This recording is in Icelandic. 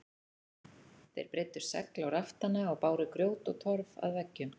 Þeir breiddu segl á raftana og báru grjót og torf að veggjum.